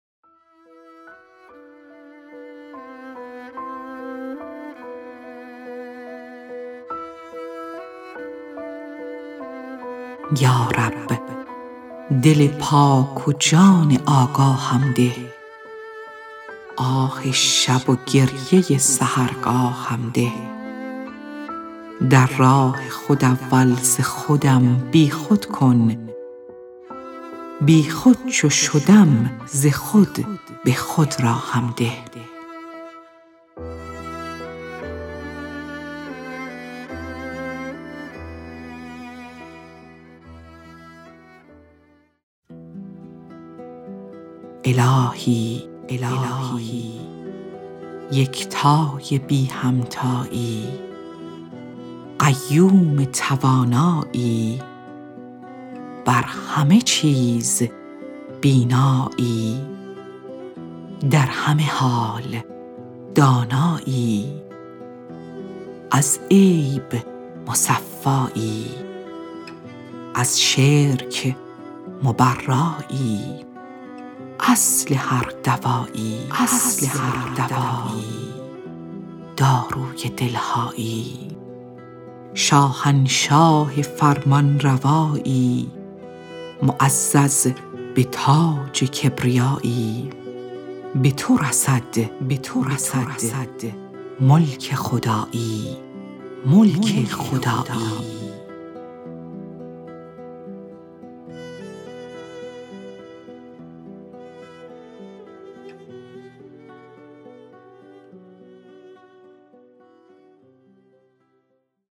یا رب دل پاک و جان آگاهم ده آه شب و گریه سحرگاهم ده در راه خود اول ز خودم بی خود کن بی خود چو شدم ز خود به خود راهم ده الهی یکتای بی همتایی قیوم توانایی بر همه چیز بینایی در همه حال دانایی از عیب مصفایی از شرک مبرایی اصل هر دوایی داروی دل هایی شاهنشاه فرمان فرمایی معزز به تاج کبریایی به تو رسد ملک خدایی